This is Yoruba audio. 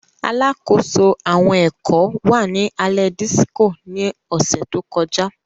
Alakoso awọn ẹkọ wa ni alẹ Disiko ni ọsẹ to kọja.